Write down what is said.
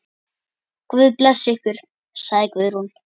Guð blessi ykkur, sagði Guðrún.